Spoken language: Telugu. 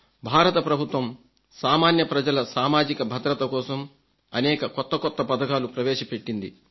భారత ప్రభుత్వం సామాన్య ప్రజల సామాజిక భద్రత కోసం అనేక కొత్త పథకాలు ప్రవేశపెట్టింది